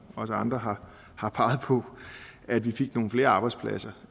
også andre har har peget på at vi fik nogle flere arbejdspladser